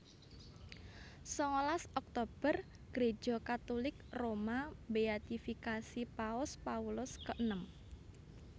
Sangalas Oktober Gréja Katulik Roma mbéatifikasi Paus Paulus keenem